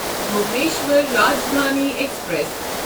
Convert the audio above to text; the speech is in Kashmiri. بھونیشور راجدھانی ایکسپریس